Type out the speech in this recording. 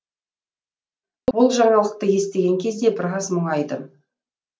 бұл жаңалықты естіген кезде біраз мұңайдым